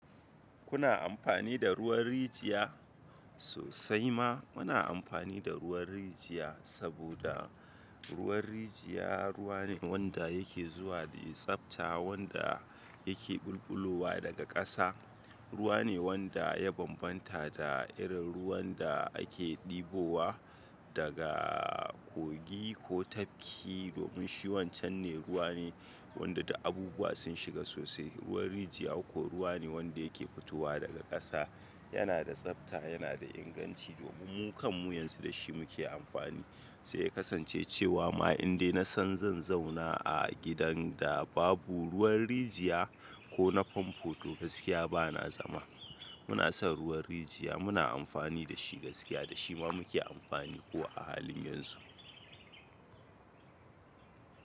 Kuna amfani da ruwan rijiya? Sosai ma muna amfani da ruwan rijiya, saboda ruwan rijiya ruwa ne wanda yake zuwa da tsabta, wanda yake ɓulɓulowa daga ƙasa. Ruwa ne wanda ya bambanta da irin ruwan da ake ɗibowa daga kogi ko tafki. Domin shi wancan ne ruwa ne wanda da abubuwa sun shiga sosai. Ruwan rijiya kuwa ruwa ne wanda yake fitowa daga ƙasa, yana da tsabta, yana da inganci. Domin mu kam mu yanzu da shi muke amfani. Sai kasance cewa ma in dai na san zan zauna a gidan da babu ruwan rijiya ko na famfo to gaskiya ba na zama. Muna son ruwan rijiya, muna amfani da shi gaskiya, da shi ma muke amfani ko a halin yanzu.